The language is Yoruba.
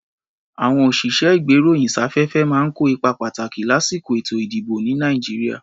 À̀wọn òṣìṣẹ́-ìgbéròyìnsáfẹ́fẹ́ máa ń kó ipa pàtàkì lásìkò èto-ìdìbò, ní Nàìjíríà.